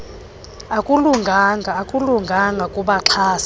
akulunganga akulunganga kubaxhasi